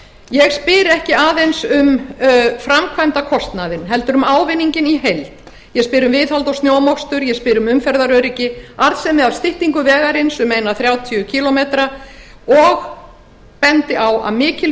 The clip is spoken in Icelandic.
ég spyr ekki aðeins um framkvæmdakostnaðinn heldur um ávinninginn í heild ég spyr um viðhald og snjómokstur ég spyr um umferðaröryggi arðsemi af styttingu vegarins um eina þrjátíu kílómetra og bendi á að mikil